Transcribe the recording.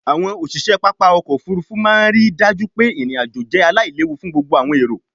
àwọn òṣiṣẹ pápá ọkọ̀-òfurufú máa ń rí i dájú pé irin-ajo jẹ́ aláìléwu fún gbogbo àwọn èrò.